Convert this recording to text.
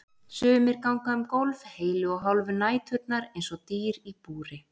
Sumir ganga um gólf heilu og hálfu næturnar eins og dýr í búri.